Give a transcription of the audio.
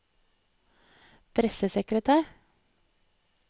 pressesekretær